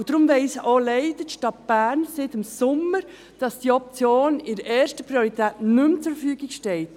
Darum weiss leider auch die Stadt Bern seit dem Sommer, dass diese Option in erster Priorität nicht mehr zur Verfügung steht.